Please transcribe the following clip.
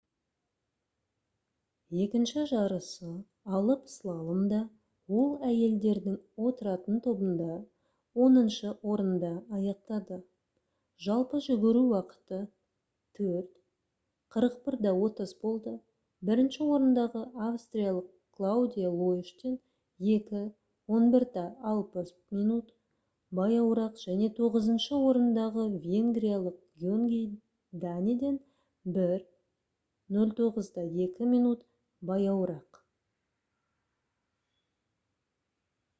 екінші жарысы «алып слаломда» ол әйелдердің отыратын тобында оныншы орында аяқтады жалпы жүгіру уақыты 4: 41.30 болды бірінші орындағы австриялық клаудия лоештен 2: 11.60 минут баяуырақ және тоғызыншы орындағы венгриялық гёнгий даниден 1: 09.02 минут баяуырақ